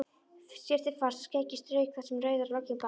Skyrpti fast og skeggið strauk þar sem rauður loginn brann.